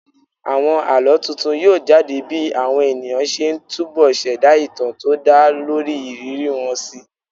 Àwọn àlọ́ tuntun yóò jade bí àwọn ènìyàn ṣe ń túbo ṣẹ̀dá ìtàn tó dá lórí ìrírí wọn síi